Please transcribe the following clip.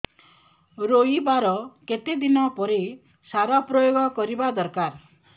ରୋଈବା ର କେତେ ଦିନ ପରେ ସାର ପ୍ରୋୟାଗ କରିବା ଦରକାର